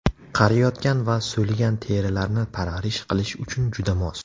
Qariyotgan va so‘ligan terilarni parvarish qilish uchun juda mos.